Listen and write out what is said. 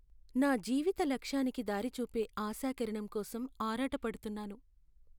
నా జీవిత లక్ష్యానికి దారి చూపే ఆశాకిరణం కోసం ఆరాటపడుతున్నాను.